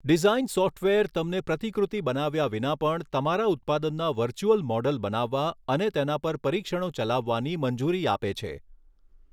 Design software તમને પ્રતિકૃતિ બનાવ્યા વિના પણ તમારા ઉત્પાદનના વર્ચ્યુઅલ મોડલ બનાવવા અને તેના પર પરીક્ષણો ચલાવવાની મંજૂરી આપે છે.